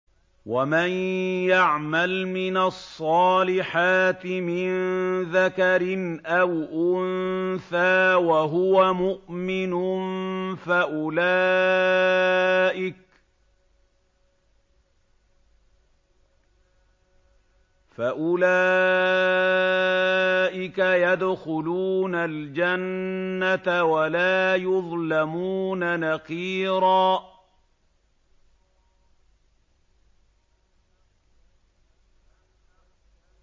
وَمَن يَعْمَلْ مِنَ الصَّالِحَاتِ مِن ذَكَرٍ أَوْ أُنثَىٰ وَهُوَ مُؤْمِنٌ فَأُولَٰئِكَ يَدْخُلُونَ الْجَنَّةَ وَلَا يُظْلَمُونَ نَقِيرًا